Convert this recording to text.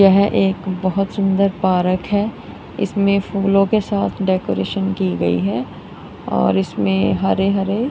यह एक बहोत सुंदर पारक है इसमें फूलों के साथ डेकोरेशन की गई है और इसमें हरे हरे--